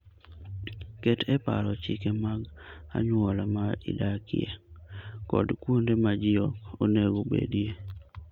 Ket e paro chike mag anyuola ma idakie kod kuonde ma ji ok onego obedie.